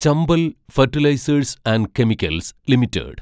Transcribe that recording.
Chambal fertilisers and chemicals limited